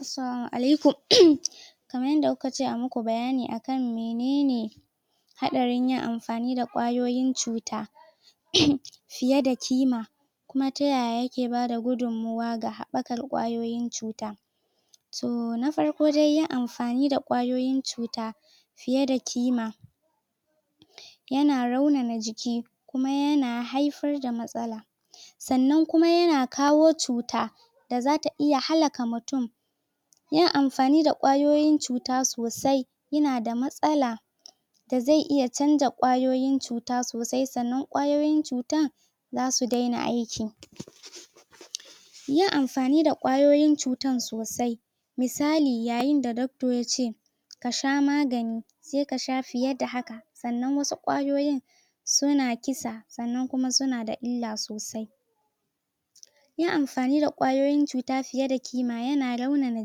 Assalama alaikum Kamar yadda kuka ce ayi maku ayi bayani akan menen Hadarin amfani da kwayoyin cuta Fiye da kima Kuma ta yaya yake bada gudummuwa ga habbakar kwayoyin cuta Toh na farko dai yin amfani da kwayoyin cuta Fiye da ƙima Yana raunana jiki Kuma yana haifar da matsala Sannan kuma yana kawo cuta Da zata iya hallaka mutum Yin amfani da kwayoyin cuta sosai Yana da matsala Da zai iya chanza kwayoyin cuta sosai sannan kwayoyin cutan!, Zasu daina aiki Yin amfani da kwayoyin cuta sosai Misali yayin da doctor yace Kasha magani Sai kasha fiye da hakan Sannan wasu kwayoyin Suna kisa Sannan kuma suna da illa sosai Yin amfani da kwayoyin cuta fiye da ƙima yana raunana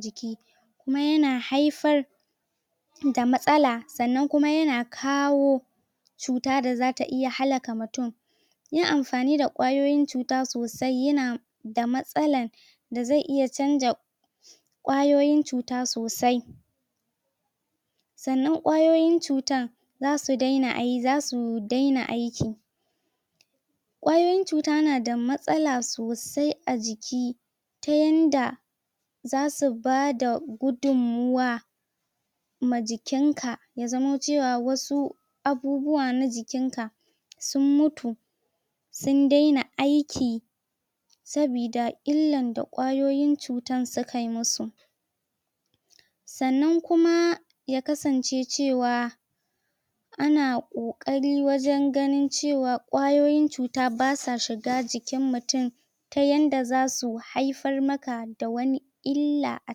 jiki Kuma yana haifar Da matsala Sannan kuma yana kawo Cuta da zata iya hallaka mutum Yin amfani da kwayoyin cuta sosai yana Da matsala Da zai iya chanza Kwayoyin cuta sosai Sannan kwayoyin cutan Zasu daina aiki zasu daina aiki Kwayoyin cuta nada matsala sosai a jiki, Ta yanda Zasu bada Gudummuwa Ma jikin ka Ya zamo cewa wasu Abubuwa na jikin ka Sun mutu Sun daina aiki Saboda illar da kwayoyin cutar sukai masu Sannan kuma Ya kasance cewa Ana ƙokari wajen ganin cewa Kwayoyin cuta basa shiga jikin mutum Ta yanda zasu haifar maka da wani Illa a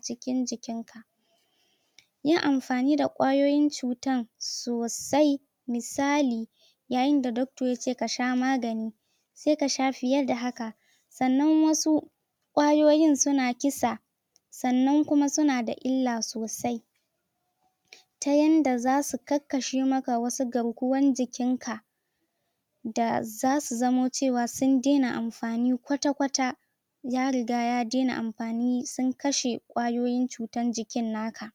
cikin jikin ka Yin amfani da kwayoyin cutan Sosai Misali Yayin da doctor yace kasha magani Sai kasha fiye da haka Sannan wasu Kwayoyin suna kisa Sannan kuma suna da illa sosai Ta yanda zasu karkashe maka wasu garkuwan jikin ka Da zasu zamo cewa sun daina amfani kwata-kwata Ya riga ya daina amfani sun kashe Kwayoyin jikin naka